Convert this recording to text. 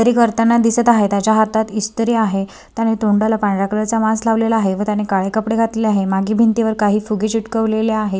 इस्त्री करताना दिसत आहे. त्याच्या हातात इस्त्री आहे त्याने तोंडाला पांढरा कलर चा मास्क लावलेला आहे व त्याने काळे कपडे घातलेले आहे व मागे भिंतीवर काही फुगे चिटकवलेले आहे.